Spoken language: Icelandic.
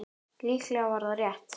Líklega var það rétt.